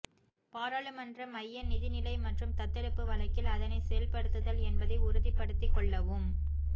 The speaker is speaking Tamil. பாராளுமன்ற மைய நிதிநிலை மற்றும் தத்தெடுப்பு வழக்கில் அதனைச் செயல்படுத்துதல் என்பதை உறுதிப்படுத்திக் கொள்ளவும்